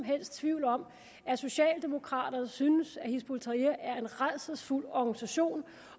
helst tvivl om at socialdemokraterne synes at hizb ut tahrir er en rædselsfuld organisation